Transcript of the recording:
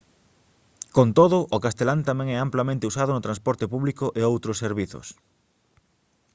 con todo o castelán tamén é amplamente usado no transporte público e outros servizos